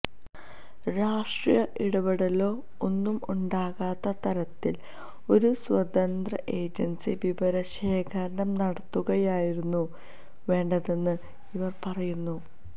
രാഷ്ട്രീയ ഇടപെടലോ ഒന്നും ഉണ്ടാകാത്ത തരത്തില് ഒരു സ്വതന്ത്ര ഏജന്സി വിവരശേഖരണം നടത്തുകയായിരുന്നു വേണ്ടതെന്നും ഇവര് പറയുന്നു